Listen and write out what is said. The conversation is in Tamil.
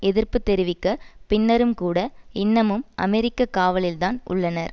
எதிர்ப்பு தெரிவிக்க பின்னரும் கூட இன்னமும் அமெரிக்க காவலில்தான் உள்ளனர்